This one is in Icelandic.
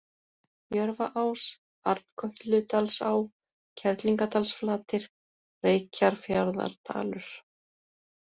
Jörfaás, Arnkötludalsá, Kerlingardalsflatir, Reykjarfjarðardalur